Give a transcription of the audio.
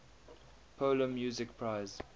polar music prize